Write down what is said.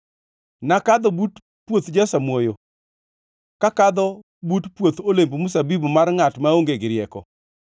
Nakadho but puoth jasamuoyo, kakadho but puoth olemb mzabibu mar ngʼat maonge gi rieko;